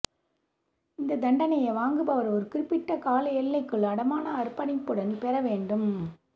இந்த தண்டனையை வாங்குபவர் ஒரு குறிப்பிட்ட கால எல்லைக்குள் அடமான அர்ப்பணிப்புடன் பெற வேண்டும்